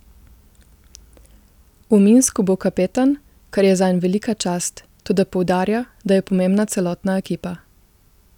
V Minsku bo kapetan, kar je zanj velika čast, toda poudarja, da je pomembna celotna ekipa.